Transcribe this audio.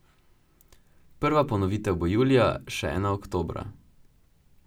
Prva ponovitev bo julija, še ena oktobra.